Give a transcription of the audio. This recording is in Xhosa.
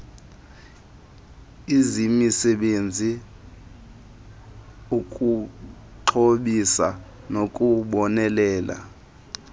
izimisele ukuxhobisa nokubonelela